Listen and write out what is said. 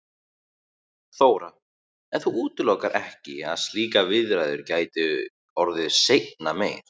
Þóra: En þú útilokar ekki að slíkar viðræður gætu orðið seinna meir?